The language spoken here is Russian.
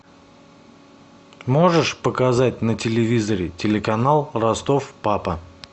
можешь показать на телевизоре телеканал ростов папа